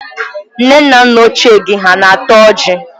Nne na nna ochié gi ha na-ata ọjị?